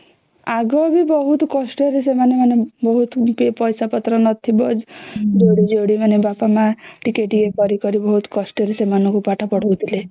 ଆଗେ ବି ବହୁତ କଷ୍ଟ ରେ ସେମାନେ ମାନେ ବହୁତ ପଇସା ପତ୍ର ନଥିବା ଯୋଡି ଯୋଡି ମାନେ ବାପ ମା ଟିକେ ଟିକେ କରି କରି ବହୁତ କଷ୍ଟ ରେ ସେମାନଙ୍କୁ ପାଠ ପଢ଼ାଉଥିଲେ